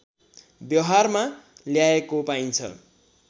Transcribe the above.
व्यवहारमा ल्याएको पाइन्छ